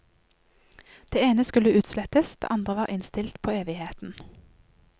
Det ene skulle utslettes, det andre var innstilt på evigheten.